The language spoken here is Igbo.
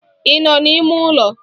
Ị nọ n'ime ụlọ?